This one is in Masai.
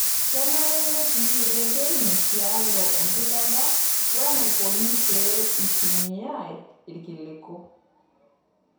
Kenare nertii reteni tialo empikata oo enaikoni pee eitumiayai ilkiliku.